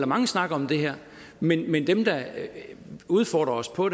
mange snakker om det her men men dem der udfordrer os på